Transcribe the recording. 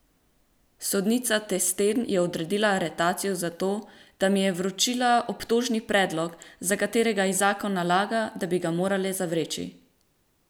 Sodnica Testen je odredila aretacijo zato, da mi je vročila obtožni predlog, za katerega ji zakon nalaga, da bi ga morala zavreči!